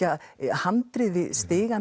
handrit við stigann